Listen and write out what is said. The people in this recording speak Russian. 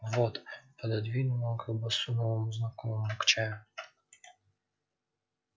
вот пододвинул он колбасу новому знакомому к чаю